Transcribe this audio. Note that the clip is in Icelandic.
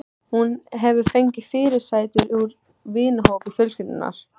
Hún hefur fengið fyrirsætur úr vinahópi fjölskyldunnar.